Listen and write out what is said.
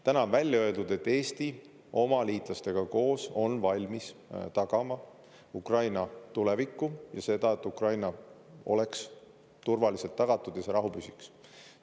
Täna on välja öeldud, et Eesti oma liitlastega koos on valmis tagama Ukraina tulevikku ja seda, et Ukraina oleks turvaliselt tagatud ja see rahu püsiks.